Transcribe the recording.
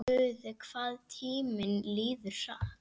Guð, hvað tíminn líður hratt.